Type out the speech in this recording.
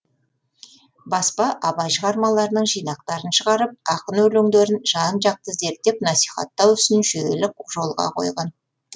баспа абай шығармаларының жинақтарын шығарып ақын өлеңдерін жан жақты зерттеп насихаттау ісін жүйелі жолға қойған